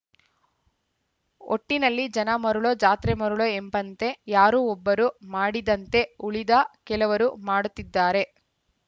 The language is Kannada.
ಒಟ್ಟಿನಲ್ಲಿ ಜನ ಮರುಳೊ ಜಾತ್ರೆ ಮರುಳೊ ಎಂಬಂತೆ ಯಾರೊ ಒಬ್ಬರು ಮಾಡಿದಂತೆ ಉಳಿದ ಕೆಲವರು ಮಾಡುತ್ತಿದ್ದಾರೆ